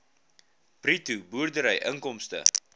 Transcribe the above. bruto boerdery inkomste